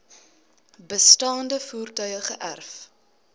bestaande voertuie geërf